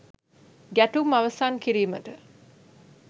ගැටුම් අවසන් කිරීමට